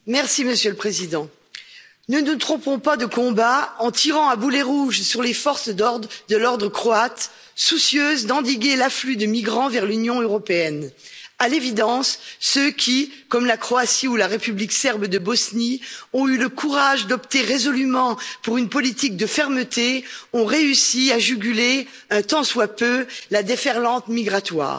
Monsieur le Président, ne nous trompons pas de combat en tirant à boulets rouges sur les forces de l'ordre croates, soucieuses d'endiguer l'afflux de migrants vers l'Union européenne. À l'évidence, ceux qui, comme la Croatie ou la République serbe de Bosnie, ont eu le courage d'opter résolument pour une politique de fermeté ont réussi à juguler, un tant soit peu, la déferlante migratoire.